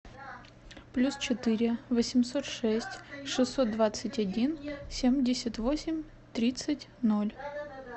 плюс четыре восемьсот шесть шестьсот двадцать один семьдесят восемь тридцать ноль